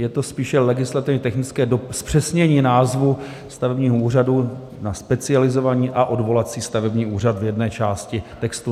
Je to spíše legislativně technické zpřesnění názvu stavebního úřadu na Specializovaný a odvolací stavební úřad v jedné části textu.